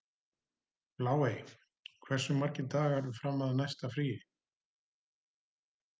Bláey, hversu margir dagar fram að næsta fríi?